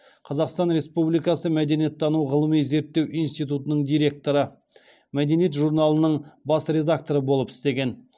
қазақстан республикасы мәдениеттану ғылыми зерттеу институтының директоры мәдениет журналының бас редакторы болып істеген